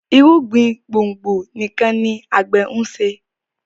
irúgbìn gbòngbò nìkàn ní agbe nṣe